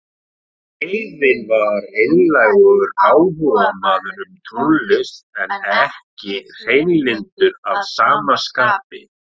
Greifinn var einlægur áhugamaður um tónlist en ekki hreinlyndur að sama skapi.